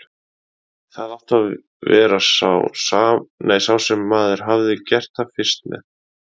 Það átti að vera sá sem maður hefði gert það fyrst með.